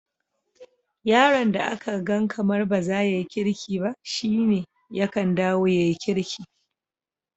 Yaron da aka gan kamar bazaya yi kirki ba, shine yakan dawo ya yi kirki.